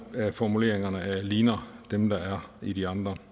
af formuleringerne ligner dem der er i de andre